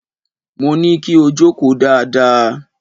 Mo ní kí o jókòó dáadáa!